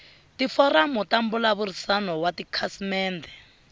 tiforamu ta mbulavurisano wa tikhasimende